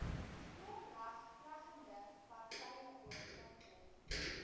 oorlegplegende partye ooreenkom